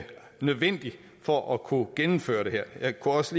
nødvendigt for at kunne gennemføre det her jeg kunne også